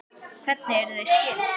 Hvernig eru þau skyld?